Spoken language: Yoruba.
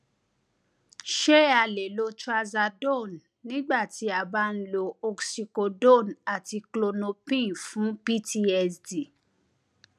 ṣé a lè lo trazadone nígbà tí a bá ń lo oxycodone àti klonopin fún ptsd